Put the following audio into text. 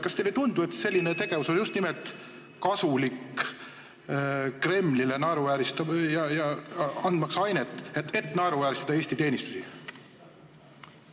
Kas teile ei tundu, et selline tegevus on just nimelt kasulik Kremlile, andmaks ainet, et naeruvääristada Eesti teenistusi?